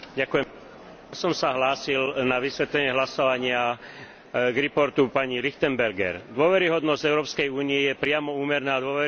Dôveryhodnosť Európskej únie je priamo úmerná dôveryhodnosti uplatňovania jej práva v členských štátoch a všetkými jej inštitúciami a orgánmi.